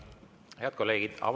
Head kolleegid!